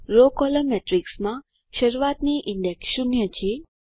row column મેટ્રીક્સમાં શરૂઆતની index 0 છે